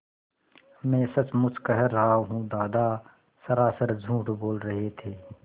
मैं सचमुच कह रहा हूँ दादा सरासर झूठ बोल रहे थे